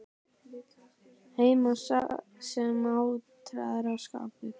Heim sem ártal á að skapa.